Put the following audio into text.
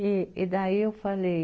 E, e daí eu falei...